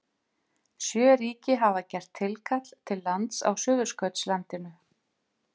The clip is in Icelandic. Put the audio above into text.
Sjö ríki hafa gert tilkall til lands á Suðurskautslandinu.